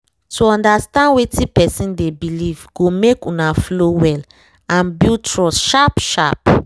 to understand wetin person dey believe go make una flow well and build trust sharp sharp